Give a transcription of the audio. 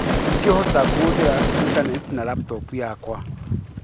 Ingĩhota kuhũthera intanetĩ na laptop yakwa?